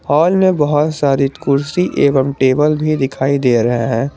Hall में बहुत सारी कुर्सी एवं टेबल भी दिखाई दे रहा है।